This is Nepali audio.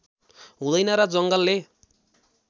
हुँदैन र जङ्गलले